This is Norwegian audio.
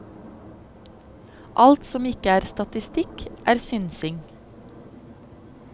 Alt som ikke er statistikk, er synsing.